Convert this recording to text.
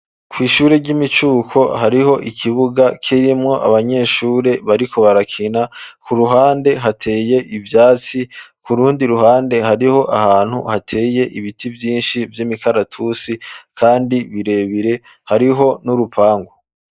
Kw'ishure ry'imicuko, hariho ikibuga, kirimwo abanyeshure, bariko barakina; ku ruhande, hateye ivyatsi; ku rundi ruhande, hariho ahantu, hateye ibiti vyinshi; vy'imikaratusi, kandi birebire; hariho n'urupangu.